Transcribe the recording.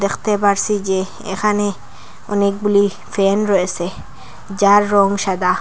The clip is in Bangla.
দেখতে পারসি যে এখানে অনেকগুলি ফ্যান রয়েসে যার রং সাদা।